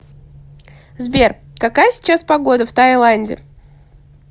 сбер какая сейчас погода в тайланде